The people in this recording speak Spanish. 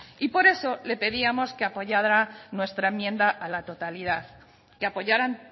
por eso le pedíamos que apoyara nuestra enmienda a la totalidad que apoyaran